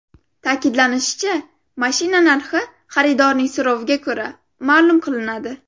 Ta’kidlanishicha, mashina narxi xaridorning so‘roviga ko‘ra, ma’lum qilinadi.